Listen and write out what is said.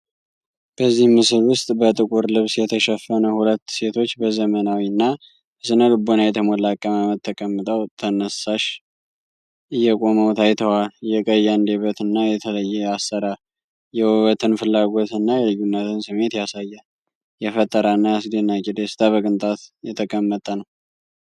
በዚህ ምስል ውስጥ በጥቁር ልብስ የተሸፈኑ ሁለት ሴቶች በዘመናዊ እና በስነ-ልቦና የተሞላ አቀማመጥ ተቀምጠው ተነሳሽ እየቆመው ታይተዋል። የቀይ አንደበት እና የተለየ አሰራር የውበትን ፍላጎት እና የልዩነት ስሜት ያሳያል። የፈጠራ እና የአስደናቂ ደስታ በቅንጣት የተቀመጠ ነው።